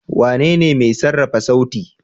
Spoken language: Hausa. Wanene mai sarrafa sauti.